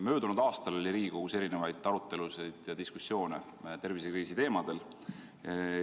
Möödunud aastal oli Riigikogus erinevaid arutelusid ja diskussioone tervisekriisi teemadel.